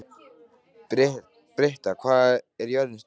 Britta, hvað er jörðin stór?